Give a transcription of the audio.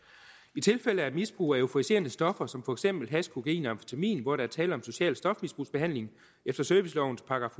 i tilfælde af misbrug af euforiserende stoffer som for eksempel hash kokain og amfetamin hvor der er tale om social stofmisbrugsbehandling efter servicelovens §